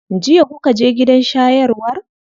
Jiya kuka je gidan shayarwar?